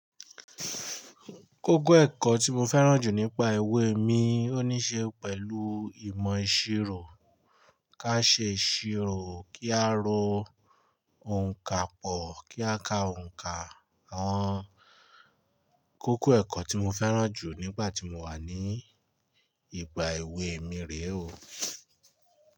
Kókó ẹ̀kọ́ tí mo fẹ́ràn jù nípa ìwé mi ó ní ṣe pẹ̀lú ìmọ̀ ìṣirò. Ká ṣe ìṣirò, kí a ro òǹkapò, kí a ka òǹkà, àń. Kókó ẹ̀kọ́ tí mo fẹ́ràn jù nígbà tí mo wà ní ìgbà ìwé mi rè o.